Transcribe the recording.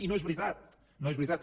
i no és veritat no és veritat